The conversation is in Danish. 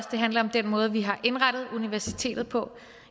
det handler om den måde vi har indrettet universitetet på